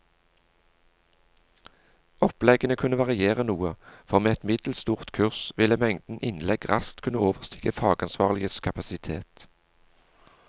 Oppleggene kunne variere noe, for med et middels stort kurs ville mengden innlegg raskt kunne overstige fagansvarliges kapasitet.